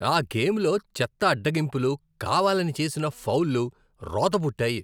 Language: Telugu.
ఆ గేమ్లో చెత్త అడ్డగింపులు, కావాలని చేసిన ఫౌల్లు రోత పుట్టాయి.